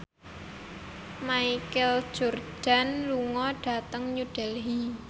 Michael Jordan lunga dhateng New Delhi